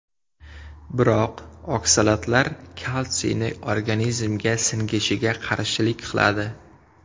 Biroq oksalatlar kalsiyni organizmga singishiga qarshilik qiladi.